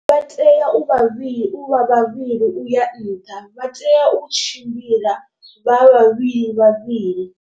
Vha tea u vhavhili u vha vhavhili uya nṱha vha tea u tshimbila vha vhavhili vhavhili.